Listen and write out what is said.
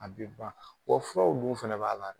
A bi ban wa furaw dun fana b'a la